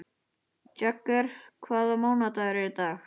Jagger, hvaða mánaðardagur er í dag?